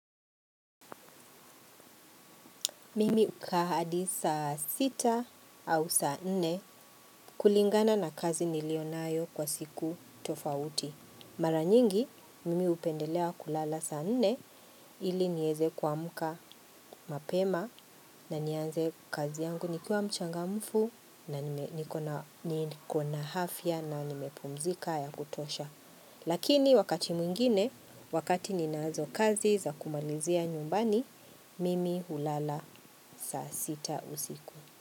Mimi ukaa hadi saa sita au saa nne kulingana na kazi nilionayo kwa siku tofauti. Maranyingi, mimi hupendelea kulala saa nne ili niweze kuamka mapema na nianze kazi yangu nikiwa mchangamfu na niko na afya na nimepumzika ya kutosha. Lakini wakati mwingine, wakati ninazo kazi za kumalizia nyumbani, mimi hulala saa sita usiku.